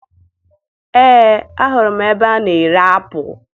Ee, ahụrụ m ebe a na-ere apụ